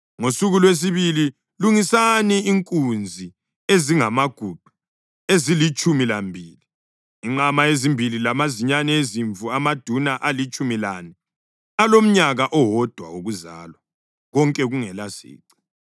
Ngosuku lwesibili lungisani inkunzi ezingamaguqa ezilitshumi lambili, inqama ezimbili lamazinyane ezimvu amaduna alitshumi lane alomnyaka owodwa wokuzalwa, konke kungelasici.